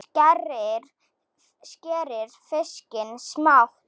Skerið fiskinn smátt.